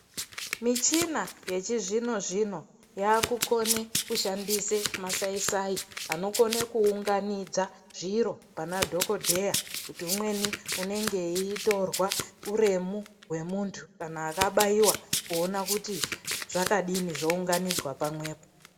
Michina yechizvino zvino yakukona kushandisa masai sai anokona kuunganidza zviro panadhokodheya kuti umweni anenge eitora huremu wemuntu kana akabaiwa kuona kuti zvakadii zvounganidzwa pamwepo.